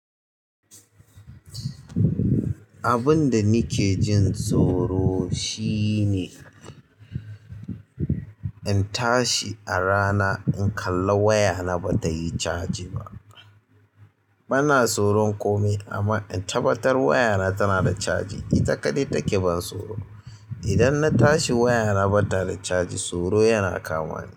Abun da nake jin tsoro shine in tashi a rana in kalli wayana ba tayi caji ba. Bana tsoron komai amma in tabbatar wayana tana da caji, ita kaɗai take ban tsoro. Idan na tashi wayana ba ta da caji, tsoro yana kamani.